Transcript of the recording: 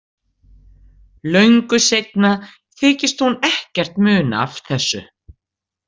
Löngu seinna þykist hún ekkert muna af þessu.